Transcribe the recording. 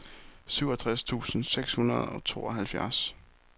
syvogtres tusind seks hundrede og tooghalvfjerds